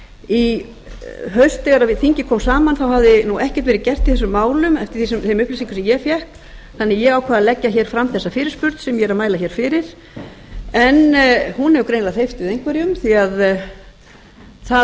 í haust þegar þingið kom saman hafði ekkert verið gert í þessum málum en eftir þeim upplýsingum sem ég fékk þannig að ég ákvað að leggja fram þessa fyrirspurn sem ég er að mæla fyrir en hún hefur greinilega hreyft við einhverjum því það